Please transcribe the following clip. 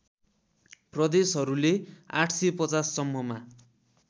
प्रदेशहरूले ८५० सम्ममा